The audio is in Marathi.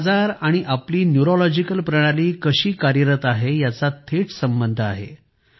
मानसिक आजार आणि आपली न्यूरोलॉजिकल प्रणाली कशी कार्यरत आहे याचा थेट संबंध आहे